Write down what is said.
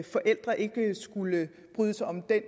forældre ikke skulle bryde sig om det